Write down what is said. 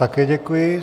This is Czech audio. Také děkuji.